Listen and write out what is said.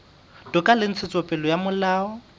toka le ntshetsopele ya molao